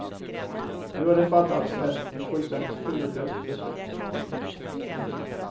Nu har det fattats ett fullständigt huvudlöst beslut.